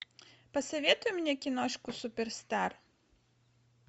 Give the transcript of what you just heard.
посоветуй мне киношку суперстар